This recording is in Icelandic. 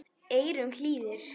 eyrum hlýðir